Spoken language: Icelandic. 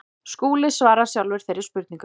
Skúli svarar sjálfur þeirri spurningu.